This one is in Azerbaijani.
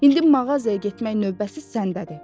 İndi mağazaya getmək növbəsi səndədir.